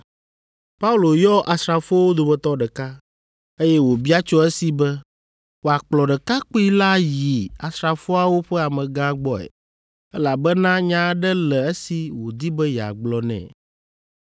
Paulo yɔ asrafowo dometɔ ɖeka, eye wòbia tso esi be wòakplɔ ɖekakpui la yi asrafoawo ƒe amegã gbɔe, elabena nya aɖe le esi wòdi be yeagblɔ nɛ.